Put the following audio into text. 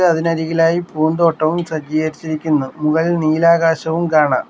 അതിനരികിലായി പൂന്തോട്ടവും സജ്ജീകരിച്ചിരിക്കുന്നു മുകളിൽ നീലാകാശവും കാണാം.